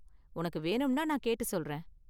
உனக்கு வேணும்னா நான் கேட்டு சொல்றேன்.